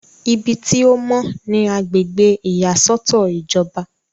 ibi tí ó mọ́ ni agbègbè ìyàsọ́tọ̀ ìjọba